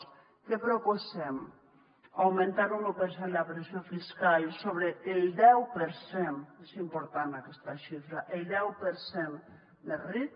què proposem augmentar un u per cent la pressió fiscal sobre el deu per cent és important aquesta xifra el deu per cent més ric